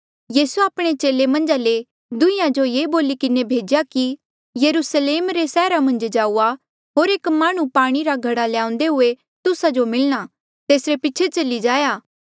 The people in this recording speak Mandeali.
यीसूए आपणे चेले मन्झा ले दुंहीं जो ये बोली किन्हें भेज्या कि यरुस्लेम रे सैहरा मन्झ जाऊआ होर एक माह्णुं पाणी रा घड़ा ल्याउंदे हुए तुस्सा जो मिलणा तेसरे पीछे चली जाया